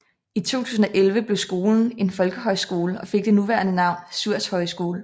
I 2011 blev skolen en folkehøjskole og fik det nuværende navn Suhrs Højskole